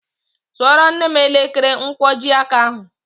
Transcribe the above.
Zụoro nne m elekere nkwojiaka ahụ